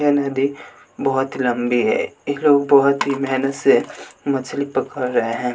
यह नदी बहुत लंबी है ये लोग बहुत ही मेहनत से मछली पकड़ रहे हैं।